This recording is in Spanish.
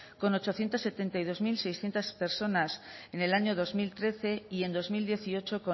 con ochocientos setenta y dos mil seiscientos personas en el año dos mil trece y en dos mil dieciocho